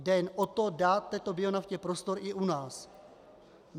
Jde jen o to, dát této bionaftě prostor i u nás.